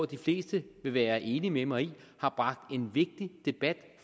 de fleste vil være enig med mig i har bragt en vigtig debat